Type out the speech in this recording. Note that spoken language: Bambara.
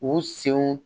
U senw